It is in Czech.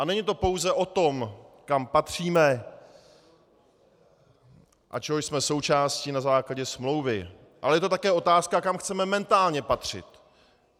A není to pouze o tom, kam patříme a čeho jsme součástí na základě smlouvy, ale je to také otázka, kam chceme mentálně patřit.